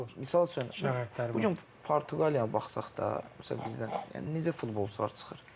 Amma misal üçün Bu gün Portuqaliyaya baxsaq da, misalən bizdən necə futbolçular çıxır.